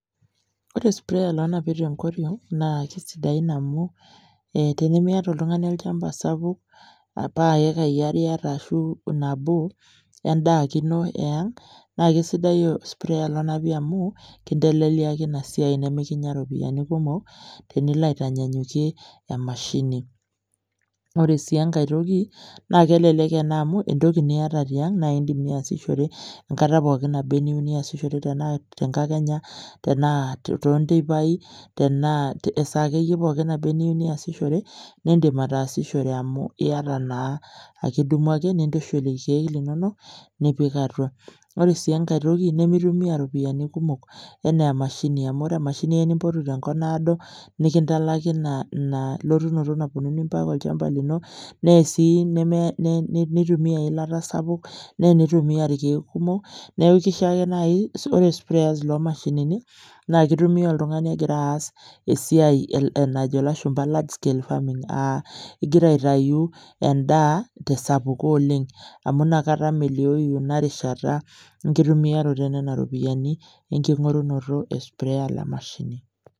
Ore sprayer lonapi tenkoriong naa kisidai amu tenimiata oltungani olchamba sapuk ,paa iekai are ake iyata ashu nabo endaa ake ino aeang naa kisidai sprayer lonapi tenkoriong amu kinteleliaki ina siai nemikinya iropiyiani kumok tenilo aitanyanyukie emashini. Ore sii enkae toki naa kelelek ena amu entoki niata tiang , nindim niasishore enkata naba anaa eniyieu niasishore tenaa tenkakenya, tenaa tonteipai tenaa esaa akeyie neba anaa eniyieu niasishore, nindim ataasishore amu iyata naa akidumu ake nintushul irkiek linonok nipik atua. Ore sii enkae nimitumia iropiyiani kumok enaa emashini, amu ore emashini eya nimpotu tenkop naado , nikintalaki ina lotunoto naponuni mpaka olchamba lino , nee sii neitumia eilata sapuk , neya sii neitumia irkiek kumok , niaku kiko ake nai , ore sprayers loo mashinini naa kitumia oltungani egira aas esiai najo ilashumba large scale farming , aa ingira aitayu endaa tesapuko oleng amu inakata meliou ina rishata , enkitumiata enena ropiyiani, enkingorunoto e sprayer le mashini.